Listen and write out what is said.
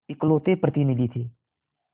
इकलौते प्रतिनिधि थे